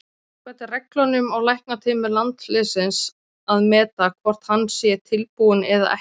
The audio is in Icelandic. Samkvæmt reglunum á læknateymi landsliðsins að meta hvort að hann sé tilbúinn eða ekki.